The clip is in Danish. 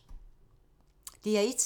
DR1